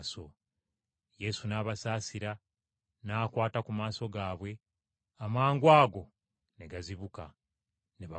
Yesu n’abasaasira n’akwata ku maaso gaabwe amangwago ne gazibuka, ne bamugoberera.